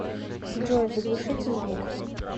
джой заглушите звук